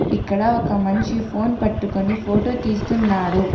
ఇక్కడ ఒక మనిషి ఫోన్ పట్టుకొని ఫోటో తీస్తున్నాడు.